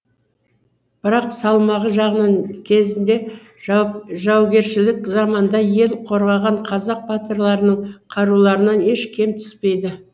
бірақ салмағы жағынан кезінде жаугершілік заманда ел қорғаған қазақ батырларының қаруларынан еш кем түспейді